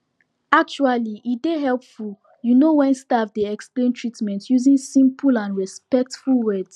actually e dey hepful you no wen staf dey explain treatment using simple and respectful words